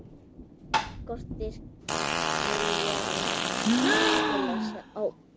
Skortir viljann til að sjá.